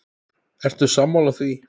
Ertu sammála því?